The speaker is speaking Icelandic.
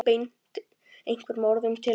Ég beindi einhverjum orðum til hans.